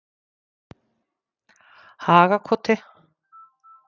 Hagakoti